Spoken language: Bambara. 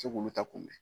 se k'olu ta kunbɛn